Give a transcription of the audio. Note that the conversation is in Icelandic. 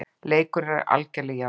Leikur er algerlega í járnum